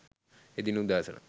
එදින උදෑසන .